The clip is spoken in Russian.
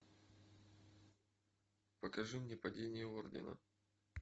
покажи мне падение ордена